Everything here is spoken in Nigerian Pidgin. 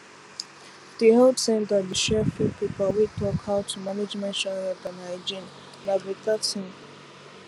the health center dey share free paper wey talk how to manage menstrual health and hygienena better thing